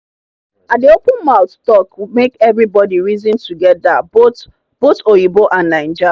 i dey open mouth talk make everybody reason together both both oyinbo and naija